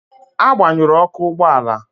Agbanyụrụ Ọkụ ụgbọ ala